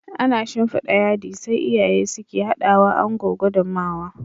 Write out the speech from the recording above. Ana shinfida yadi, sai iyaye suke hadawa Ango gudummawa